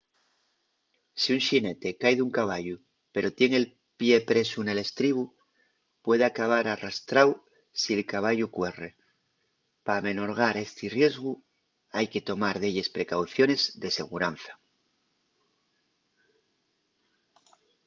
si un xinete cai d’un caballu pero tien el pie presu nel estribu puede acabar arrastráu si’l caballu cuerre. p’amenorgar esti riesgu hai que tomar delles precauciones de seguranza